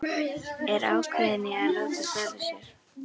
Er ákveðin í að láta svara sér.